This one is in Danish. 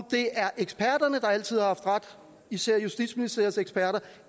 det er eksperterne der altid har haft ret især justitsministeriets eksperter